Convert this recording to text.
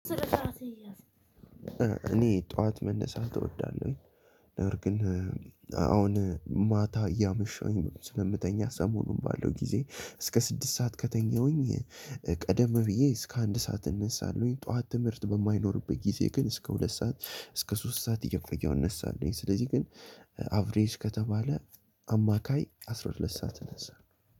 እኔ ጠዋት መነሳት እወዳለሁኝ ነገር ግን አሁን ማታ እያመሸሁኝ ስለምተኛ ሰሞኑን ባለው ጊዜ እስከ ስድስት ሰዓት ከተኛሁኝ ቀደም ብዬ እስከ አንድ ሰዓት እነሳለሁኝ። ጠዋት ትምህርት በማይኖርበት ጊዜ ግን እስከ ሁለት ሰዓት እስከ ሶስት ሰዓት እየቆየው እነሳለሁኝ። ስለዚህ ግን አቭሬጅ ከተባለ አማካይ አስራ ሁለት ሰዓት እነሳለው።